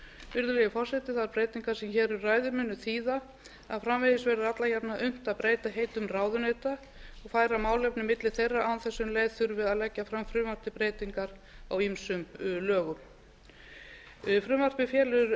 virðulegi forseti þær breytingar sem hér um ræðir munu þýða að framvegis verður alla jafna unnt að breyta heitum ráðuneyta og færa málefni milli þeirra án þess um leið þurfi að leggja fram frumvarp til breytingar á ýmsum lögum frumvarpið felur